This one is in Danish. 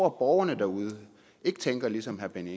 at borgerne derude tænker ligesom herre benny